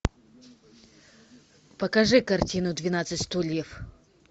покажи картину двенадцать стульев